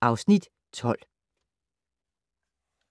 (Afs. 12)